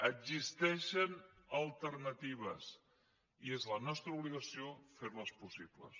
existeixen alternatives i és la nostra obligació fer les possible